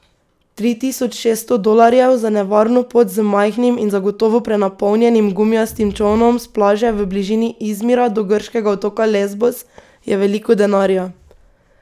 Tri tisoč šesto dolarjev za nevarno pot z majhnim in zagotovo prenapolnjenim gumijastim čolnom s plaže v bližini Izmira do grškega otoka Lezbos je veliko denarja.